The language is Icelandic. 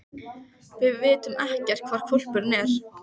Við vitum ekkert hvar hvolpurinn er.